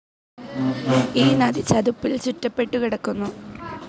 ഈ നദി ചതുപ്പിൽ ചുറ്റപെട്ടുകിടക്കുന്നു.